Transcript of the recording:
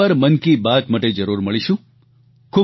ફરી એક વાર મન કી બાત માટે જરૂર મળીશું